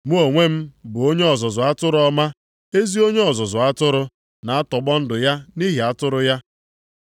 “Mụ onwe m bụ onye ọzụzụ atụrụ ọma. Ezi onye ọzụzụ atụrụ na-atọgbọ ndụ ya nʼihi atụrụ ya.